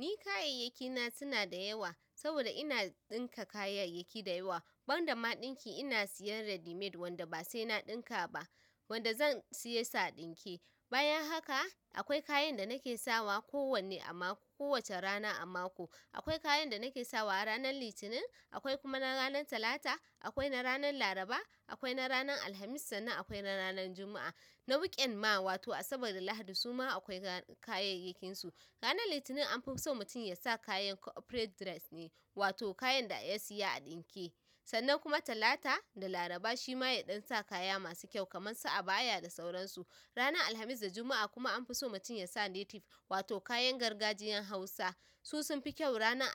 Ni kayyayaki na suna da yawa saboda ina ɗinka kayyayaki da yawa ban da ma ɗinki ina siyan ready made wanda ba sai na ɗinka ba wanda zan siye su a ɗinke. Bayan haka akwai kayan da nake sawa ko wanne a mako, kowacce rana a mako. Akwai kayan da nake sawa ranar Litinin, akwai kuma na ranar Talata, akwai na ranar Laraba, akwai na ranar Alhamis sannan akwai na ranar Juma'a. Na weekend ma wato Asabar da Lahadi suma akwai kayyayakin su ranar Litinin an fi so mutum ya sa kayan corporate dress ne, wato kayan da ya siya a ɗinke. Sannan kuma Talata da Laraba shi ma ya ɗan sa kaya masu kyau kamar su abaya da sauransu. Ranar Alhamis da Juma'a kuma an fi so mutum ya sa native, wato kayan gargajiyan Hausa. Su sun fi kyau ranar